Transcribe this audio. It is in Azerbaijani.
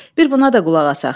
Bir buna da qulaq asaq.